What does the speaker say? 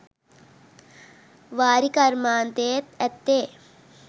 වාරි කර්මාන්තයේත් ඇත්තේ